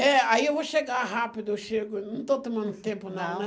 É, aí eu vou chegar rápido, eu chego, não estou tomando tempo não, né?